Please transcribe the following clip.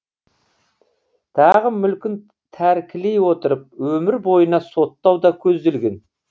тағы мүлкін тәркілей отырып өмір бойына соттау да көзделген